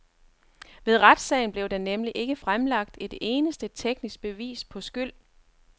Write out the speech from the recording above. Ved retssagen blev der nemlig ikke fremlagt et eneste teknisk bevis på skyld.